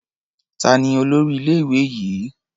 Ta ni olórí ilé-ìwé yìí?